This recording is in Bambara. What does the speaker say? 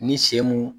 Ni sen mun